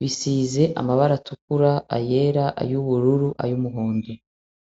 Bisize amabara atukura, ayera, ay'ubururu, ay'umuhondo.